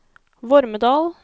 Vormedal